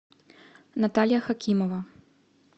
наталья хакимова